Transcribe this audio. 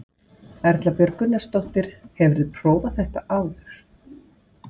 Erla Björg Gunnarsdóttir: Hefurðu prófað þetta áður?